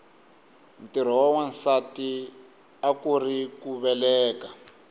ntirho wa nwasati akuuri ku veleka